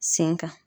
Sen kan